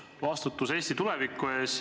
Vastutus Eesti tuleviku eest.